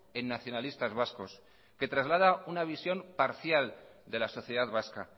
en nacionalistas vascos que traslada una visión parcial de la sociedad vasca